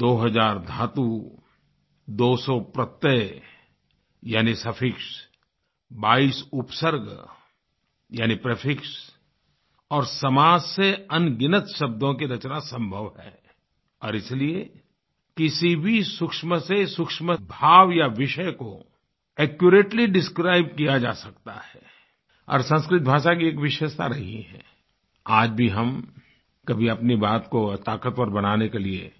दो हज़ार धातु 200 प्रत्यय यानी सफिक्स 22 उपसर्ग यानी प्रीफिक्स और समाज से अनगिनत शब्दों की रचना संभव है और इसलिए किसी भी सूक्ष्म से सूक्ष्म भाव या विषय को एक्युरेटली डिस्क्राइब किया जा सकता है और संस्कृत भाषा की एक विशेषता रही है आज भी हम कभी अपनी बात को ताकतवर बनाने के लिए